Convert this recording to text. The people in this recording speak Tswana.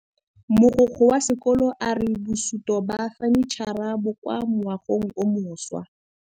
Mogokgo wa sekolo a re bosutô ba fanitšhara bo kwa moagong o mošwa.